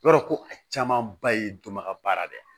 I b'a dɔn ko a caman ba ye dɔnbaga dɔ ye